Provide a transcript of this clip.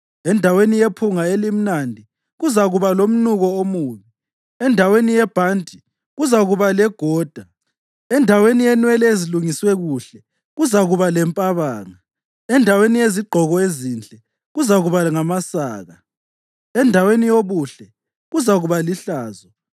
Endaweni yephunga elimnandi kuzakuba lomnuko omubi; endaweni yebhanti kuzakuba legoda, endaweni yenwele ezilungiswe kuhle kuzakuba lempabanga, endaweni yezigqoko ezinhle kuzakuba ngamasaka, endaweni yobuhle, kuzakuba lihlazo.